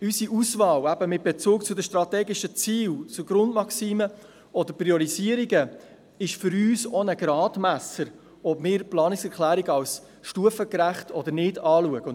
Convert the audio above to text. Unsere Auswahl mit Bezug zu den Grundmaximen, strategischen Zielen und Priorisierungen ist für uns auch ein Gradmesser dafür, ob wir Planungserklärungen als stufengerecht betrachten.